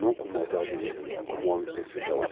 Não com maldade, como o homem pensa até hoje.